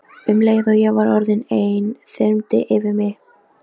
Ýmsar kenningar eru þó uppi um orsakir offitu.